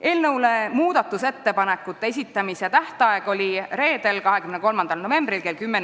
Eelnõu muudatusettepanekute esitamise tähtaeg oli reedel, 23. novembril kell 10.